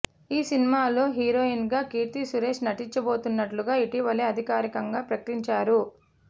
ఈ సినిమాలో హీరోయిన్గా కీర్తి సురేష్ నటించబోతున్నట్లుగా ఇటీవలే అధికారికంగా ప్రకటించారు